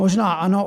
Možná ano.